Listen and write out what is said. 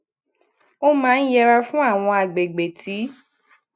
ó maa n yẹra fún awon agbegbe ti